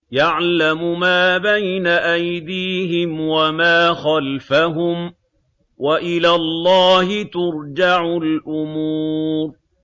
يَعْلَمُ مَا بَيْنَ أَيْدِيهِمْ وَمَا خَلْفَهُمْ ۗ وَإِلَى اللَّهِ تُرْجَعُ الْأُمُورُ